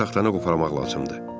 Bircə taxtanı qoparmaq lazımdır.